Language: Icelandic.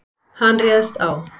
Hann réðst á